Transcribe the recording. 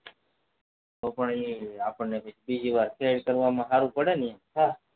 તો પણ આપણે ખેર કરવામાં માં સેલુ પડેન હા